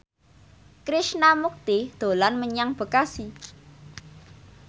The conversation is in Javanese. Krishna Mukti dolan menyang Bekasi